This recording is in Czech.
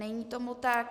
Není tomu tak.